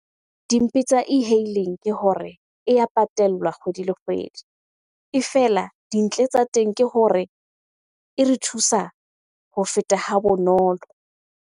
Dimpe tsa e-hailing ke hore e ya patellwa kgwedi le kgwedi. E fela dintle tsa teng ke hore e re thusa ho feta ha bonolo.